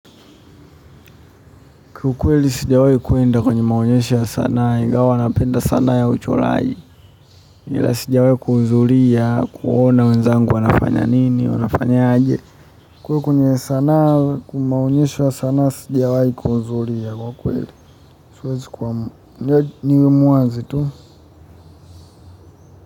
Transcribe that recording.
Kwa ukweli sijawahi kuenda kwenye maonyesho ya sanaa ingawa napenda sana ya uchoraji ila sijawahi kuhudhuria kuona wenzangu wanafanya nini wanafanya aje. Kwa hiyo kwenye sanaa kwa maonyesho ya sanaa sijawahi kuhudhuria kwa kweli siwezi, niwe muwazi tu.